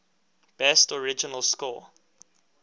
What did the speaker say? best original score